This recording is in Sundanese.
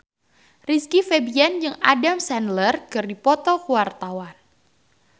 Rizky Febian jeung Adam Sandler keur dipoto ku wartawan